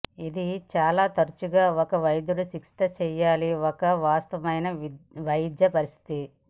ఇది చాలా తరచుగా ఒక వైద్యుడు చికిత్స చేయాలి ఒక వాస్తవమైన వైద్య పరిస్థితి